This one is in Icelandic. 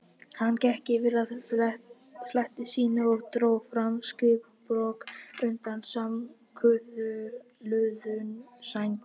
Hann gekk yfir að fleti sínu og dró fram skrifblokk undan samankuðluðum sængurfötunum.